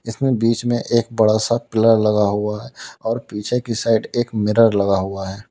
इसमें बीच में एक बड़ा सा पिलर लगा हुआ है और पीछे की साइड एक मिरर लगा हुआ है।